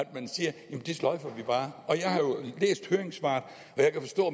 man siger det sløjfer vi bare jeg har jo læst høringssvaret og jeg kan forstå